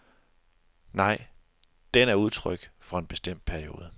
Nej, den er udtryk for en bestemt periode.